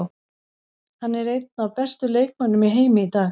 Hann er einn af bestu leikmönnum í heimi í dag.